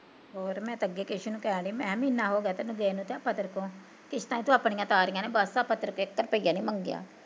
ਹੋਰ ਮੈਂ ਤੇ ਅੱਗੇ ਕੇਸ਼ੈ ਨੂੰ ਕਹਿਣ ਡਈ ਮਹੀਨਾ ਹੋਗਿਆ ਤੈਨੂੰ ਗਏ ਨੂੰ ਆਪਾਂ ਤੇਰੇ ਤੋਂ, ਕਿਸ਼ਤਾਂ ਤੂੰ ਆਪਣੀਆ ਤਾਰੀਂਆ ਨੀ ਬਸ ਆਪਾਂ ਤੇਰੇ ਕੋਲੋਂ ਇੱਕ ਰੁਪਿਆ ਨੀ ਮੰਗਿਆ